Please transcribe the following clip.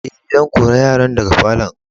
Eh, zan kore yaran daga falo'n.